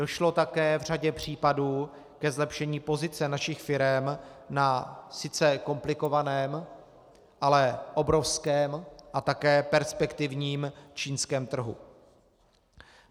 Došlo také v řadě případů ke zlepšení pozice našich firem na sice komplikovaném, ale obrovském a také perspektivním čínském trhu.